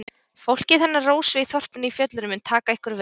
Fólkið hennar Rósu í þorpinu í fjöllunum mun taka ykkur vel.